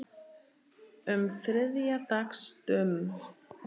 um þriðja dags dömum.